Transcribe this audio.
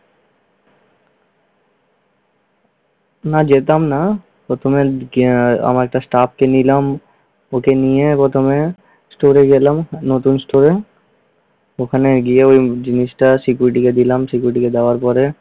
না যেতাম না। প্রথমে আহ আমার একটা Staff কে নিলাম। ওকে নিয়ে প্রথমে store এ গেলাম। নতুন store এ । ওখানে গিয়ে ওই জিনিসটা security কে দিলাম। security কে দেওয়ার পরে